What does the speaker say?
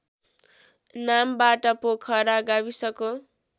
नामबाट पोखरा गाविसको